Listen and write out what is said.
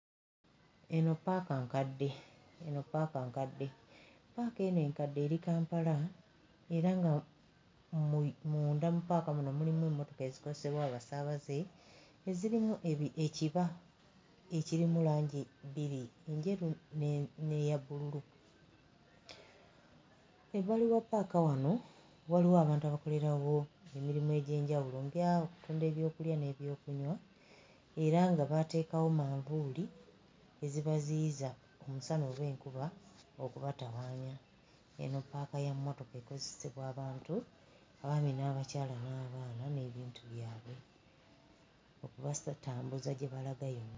Eno ppaaka nkadde, eno ppaaka nkadde, ppaaka eno enkadde eri Kampala era nga mu munda mu ppaaka muno mulimu emmotoka ezikozesebwa abasaabaze ezirimu ebi ekiba ekirimu langi bbiri, enjeru ne n'eya bbululu. Ebbali wa ppaaka wano waliwo abantu abakolerawo emirimu egy'enjawulo nga okutunda eby'okulya n'eby'okunywa era nga baateekawo manvuuli ezibaziyiza omusana oba enkuba okubatawaanya, eno ppaaka ya mmotoka ekozesebwa abantu abaami n'abakyala n'abaana n'ebintu byabwe.